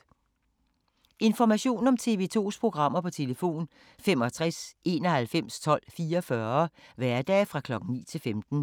Information om TV 2's programmer: 65 91 12 44, hverdage 9-15.